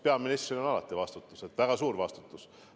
Peaministril on alati vastutus, väga suur vastutus.